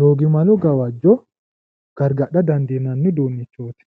doogimale gawajjo gargadha dandiinanni uduunnichooti.